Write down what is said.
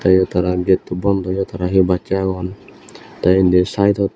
eyot tara getto bondaw yo tara he bassey agon tey indi sidedot.